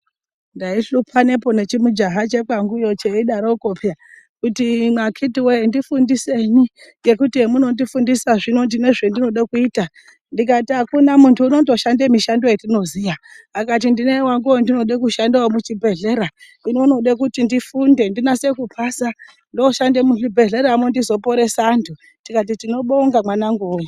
Ndaishupanepo nechimujaha chekwanguyo cheidaroko peya kuti imwi akiti woye ndifundisenyi, ngekuti hemunondifundisa zvino ndine zvendinode kuita ndikati akuna muntu unondoshande mishando yatinoziya akati ndine wangu wandinode kushanda wemuchibheleya hino unode kuti ndifunde ndinase kupasa ndooshande muzvibhehleya mwo ndizoporesa anhu, tikati tinobonga mwanawangu we.